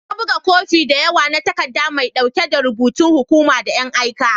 Na buga kofi da yawa na takaddan mai dauki da rubutun hukuma da an aika.